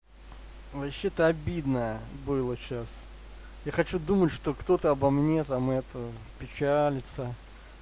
вообще-то обидно было сейчас я хочу думать что кто-то обо мне там это печалиться